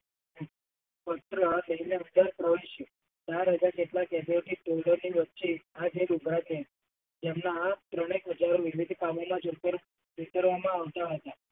તેમના ત્રણેક હજાર સામે ના પર વિખર્વમાં આવતા હતા.